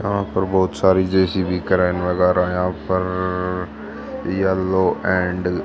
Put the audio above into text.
यहां पर बहोत सारी जे_सी_बी क्रेन वगैरा हैं यहां पर येलो एंड --